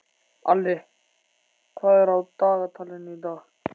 Alli, hvað er á dagatalinu í dag?